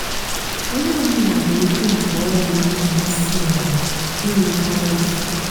ónyé ọ bụlà nwée ókwú nkè ọrụ nà-àmasị yá ịrù kwá ízú.